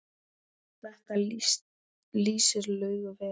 Þetta lýsir Laugu vel.